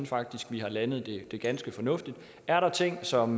faktisk har landet det ganske fornuftigt er der ting som